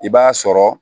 I b'a sɔrɔ